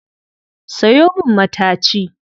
Sayo min mataci